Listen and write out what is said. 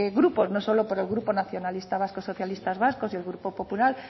grupos no solo por el grupo nacionalista vasco socialistas vascos y el grupo popular